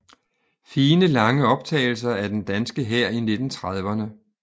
Fine lange optagelser af den danske hær i 1930erne